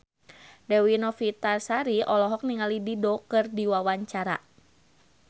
Dewi Novitasari olohok ningali Dido keur diwawancara